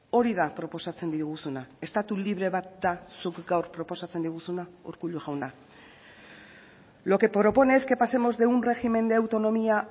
hori da proposatzen diguzuna estatu libre bat da zuk gaur proposatzen diguzuna urkullu jauna lo que propone es que pasemos de un régimen de autonomía